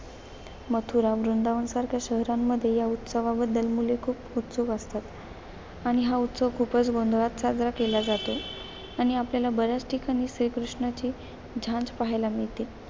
मथुरा, वृंदावनसारख्या शहरांमध्ये या उत्सवाबद्दल मुले खूप उत्सुक असतात. आणि हा उत्सव खूपच गोंधळात साजरा केला जातो. आणि आपल्याला बर्‍याच ठिकाणी, श्रीकृष्णाची झांज पाहायला मिळते.